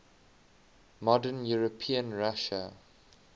modern european russia